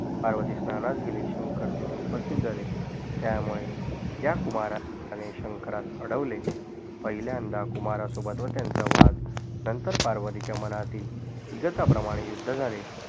पार्वतीस स्नानास गेली शंकर तिथ उपस्तीत झाले त्यामुळे या कुमारणे शंकरास अडवले पहिल्यांदा कुमारा सोबत व त्यांचा वाद नंतर पार्वतीच्या मनातील ईगताप्रमाणे युद्ध झाले